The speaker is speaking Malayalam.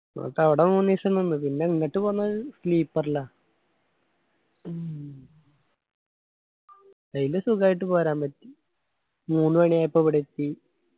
എന്നിട്ട് അവട മൂന്നിസം നിന്ന് പിന്നാ ഇങ്ങട്ട് പോന്നത് sleeper ലാ അയിന് സുഖായിട്ട് പോരാൻ പറ്റി. മൂന്ന് മണിയായപ്പൊ ഇവിടെ എത്തി.